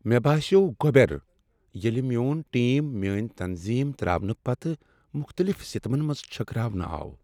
مےٚ باسیوٚو گۄبیر ییٚلہ میون ٹیم میانۍ تنظیم تراونہٕ پتہٕ مختلف سمتن منٛز چھكراونٕہ آو۔